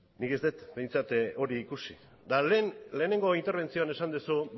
nik ez dut behintzat hori ikusi eta lehen lehenengo interbentzioan esan duzu